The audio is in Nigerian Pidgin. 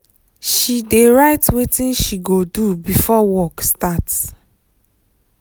she dey write wetin she go do before work start